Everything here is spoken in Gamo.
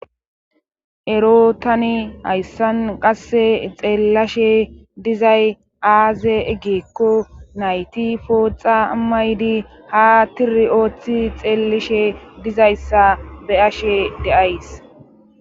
Ero tani hayssan qasse xeellashe dizay aaze eggeekko nayti pooxa maydi ha tiri ooththi xeelishe dizayssa be ashe de'ays.